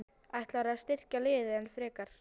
Ætlarðu að styrkja liðið enn frekar?